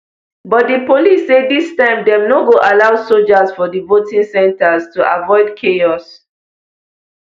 but di police say dis time dem no go allow soldiers for di voting centres to avoid chaos